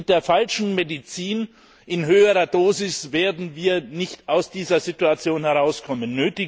Mit der falschen Medizin in höherer Dosis werden wir nicht aus dieser Situation herauskommen.